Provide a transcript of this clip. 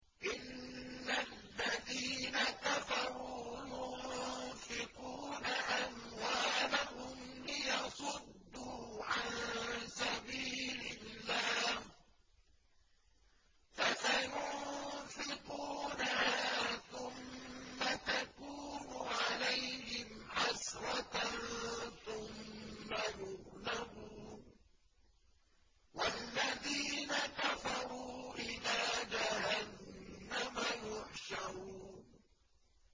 إِنَّ الَّذِينَ كَفَرُوا يُنفِقُونَ أَمْوَالَهُمْ لِيَصُدُّوا عَن سَبِيلِ اللَّهِ ۚ فَسَيُنفِقُونَهَا ثُمَّ تَكُونُ عَلَيْهِمْ حَسْرَةً ثُمَّ يُغْلَبُونَ ۗ وَالَّذِينَ كَفَرُوا إِلَىٰ جَهَنَّمَ يُحْشَرُونَ